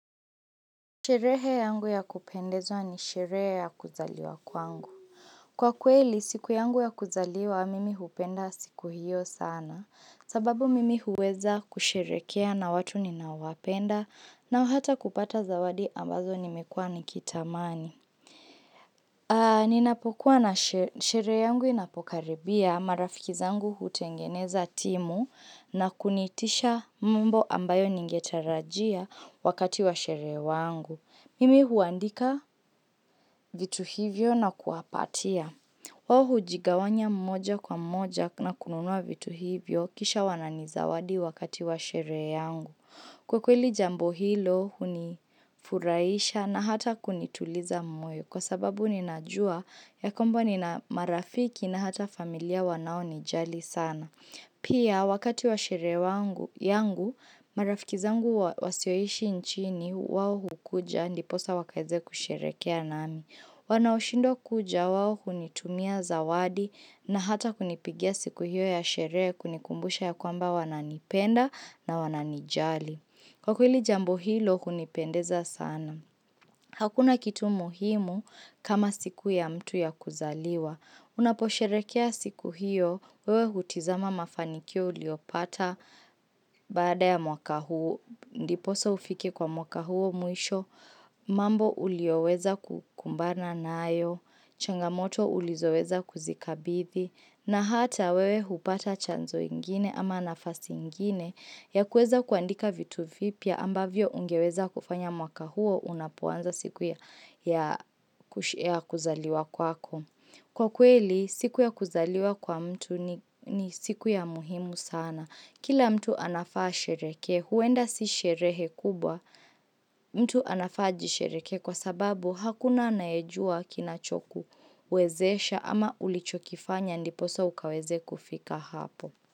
Sherehe yangu ya kupendeza ni sherehe ya kuzaliwa kwangu. Kwa kweli, siku yangu ya kuzaliwa, mimi hupenda siku hiyo sana, sababu mimi huweza kusherehekea na watu ninaowapenda, na hata kupata zawadi ambazo nimekua nikitamani. Ninapokuwa na, sherehe yangu inapokaribia marafiki zangu hutengeneza timu na kuniitisha mambo ambayo ningetarajia wakati wa sherehe wangu. Mimi huandika vitu hivyo na kuwapatia. Wao hujigawanya mmoja kwa mmoja na kununua vitu hivyo kisha wananizawadi wakati wa sherehe yangu. Kwa kweli jambo hilo hunifurahisha na hata kunituliza moyo kwa sababu ninajua ya kwamba nina marafiki na hata familia wanaonijali sana. Pia wakati wa sherehe yangu marafiki zangu wasioishi nchini wao hukuja ndiposa wakaweze kusherehekea nami. Wanaoshindwa kuja wao hunitumia zawadi na hata kunipigia siku hiyo ya sherehe kunikumbusha ya kwamba wananipenda na wananijali. Kwa kweli jambo hilo hunipendeza sana. Hakuna kitu muhimu kama siku ya mtu ya kuzaliwa. Unaposherehekea siku hio, wewe hutizama mafanikio uliyopata baada ya mwaka huo, ndiposa ufike kwa mwaka huo mwisho, mambo uliyoweza kukumbana nayo, changamoto ulizoweza kuzikabili, na hata wewe hupata chanzo ingine ama nafasi ingine ya kuweza kuandika vitu vipya ambavyo ungeweza kufanya mwaka huo unapoanza siku ya kuzaliwa kwako. Kwa kweli, siku ya kuzaliwa kwa mtu ni siku ya muhimu sana. Kila mtu anafaa ashereheke, huenda si sherehe kubwa mtu anafaa ajishereke kwa sababu hakuna anayejua kinachokuwezesha ama ulichokifanya ndiposa ukaweze kufika hapo.